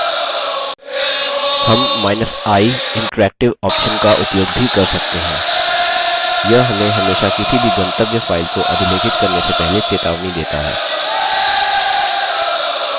हमi interactive option का उपयोग भी कर सकते हैं यह हमें हमेशा किसी भी गंतव्य file को अधिलेखित करने से पहले चेतावनी देता है